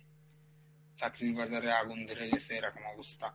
চাকরির বাজারে আগুন ধরাই দিসে এরকম অবস্থা।